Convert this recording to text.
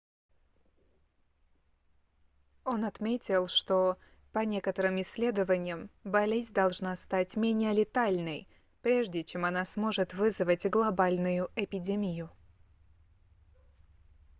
он отметил что по некоторым исследованиям болезнь должна стать менее летальной прежде чем она сможет вызвать глобальную эпидемию